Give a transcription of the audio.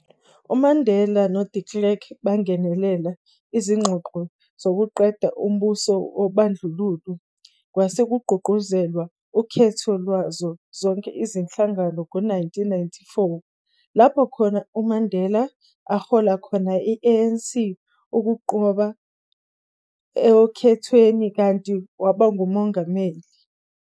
UMandela no-De Klerk bangenela izingxoxo zokuqeda umbuso wobandlululo kwase kugqugquzelwa ukhetho lwazo zonke izinhlangano ngo-1994, lapho khona uMandela ahola khona i-ANC ukunqoba okhethweni kanti waba nguMongameli.